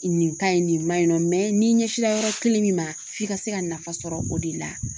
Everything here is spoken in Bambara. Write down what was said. Nin ka ɲi nin man ɲi nɔ n'i ɲɛsila yɔrɔ kelen min ma f'i ka se ka nafa sɔrɔ o de la